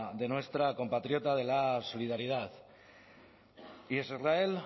de nuestra compatriota de la solidaridad israel